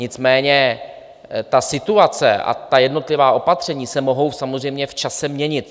Nicméně ta situace a ta jednotlivá opatření se mohou samozřejmě v čase měnit.